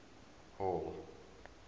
hall